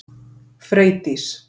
Freydís